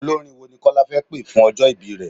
Olórin wo ni Kọ́lá fẹ́ pé fún ọjọ́ ìbí rẹ?